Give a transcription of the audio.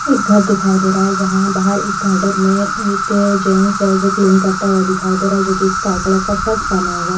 एक घर दिखाई दे रहा है जहाँ बाहर गार्डन में एक जेन्स है जो क्लीन करते हुए दिखाई दे रहा है जोकि स्काई कलर की शर्ट पहने हुए है।